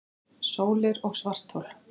Sólir og svarthol